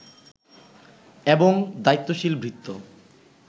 এবং দায়িত্বশীল ভৃত্য